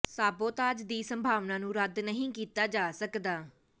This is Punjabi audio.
ਸਾਬੋਤਾਜ ਦੀ ਸੰਭਾਵਨਾ ਨੂੰ ਰੱਦ ਨਹੀਂ ਕੀਤਾ ਜਾ ਸਕਦਾ